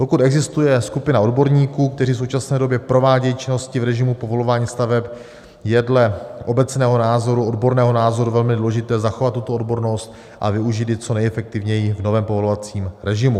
Pokud existuje skupina odborníků, kteří v současné době provádějí činnosti v režimu povolování staveb, je dle obecného názoru, odborného názoru velmi důležité zachovat tuto odbornost a využít ji co nejefektivněji v novém povolovacím režimu.